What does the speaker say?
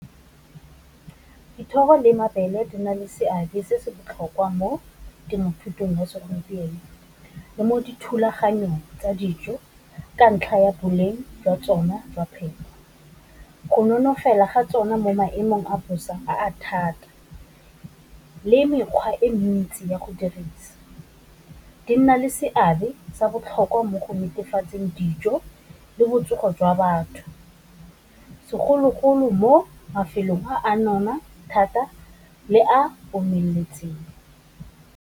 Dithoro le mabele di na le seabe se se botlhokwa mo temothuong ya segompieno, le mo dithulaganyong tsa dijo ka ntlha ya boleng jwa tsona jwa phepo, go nonofo fela ga tsona mo maemong a bosa a thata, le mekgwa e mentsi ya go dirisa, di nna le seabe sa botlhokwa mo go netefatseng dijo le botsogo jwa batho, segologolo mo mafelong a nona thata le a omeletseng.